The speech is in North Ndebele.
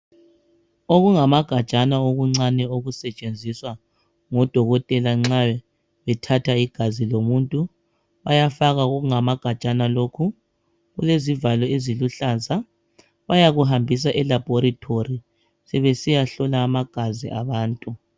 Okungamagajana okuncane okusetshenziswa ngodokotela nxa bethatha igazi lomuntu bayafaka kokungamagajana lokhu kulezivalo eziluhlaza bayakuhambisa e"Laboratory" sebesiyahlola amagazi abantu.